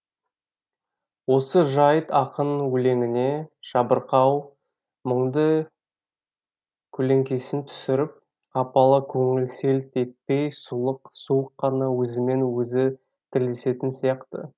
осы жайт ақын өлеңіне жабырқау мұңды көлеңкесін түсіріп қапалы көңіл селт етпей сұлық суық қана өзімен өзі тілдесетін сияқты